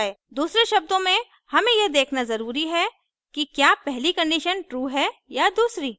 दूसरे शब्दों में हमें यह देखना ज़रूरी है कि क्या पहली condition true है या दूसरी